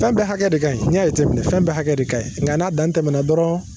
Fɛn bɛɛ hakɛya de ka ɲi fɛn bɛ hakɛ de ka ɲi nka n'a dan tɛmɛna dɔrɔn